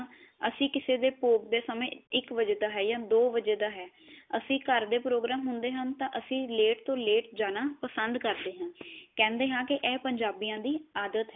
ਅਸੀਂ ਕਿਸੇ ਦੇ ਭੋਗ ਦੇ ਸਮੇ ਇੱਕ ਵਜੇ ਦਾ ਹੈ ਯਾ ਦੋ ਵਜੇ ਦਾ ਹੈ ਅਸੀਂ ਘਰ ਦੇ ਪ੍ਰੋਗ੍ਰਾਮ ਹੁੰਦੇ ਹ ਤਾਂ ਅਸੀਂ ਲੇਟ ਤੋ ਲੇਟ ਜਾਣਾ ਪਸੰਦ ਕਰਦੇ ਹਾਂ। ਕਹੰਦੇ ਹਾਂ ਕੀ ਇਹ ਪੰਜਾਬੀਆਂ ਦੀ ਆਦਤ